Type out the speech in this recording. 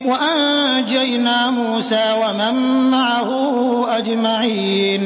وَأَنجَيْنَا مُوسَىٰ وَمَن مَّعَهُ أَجْمَعِينَ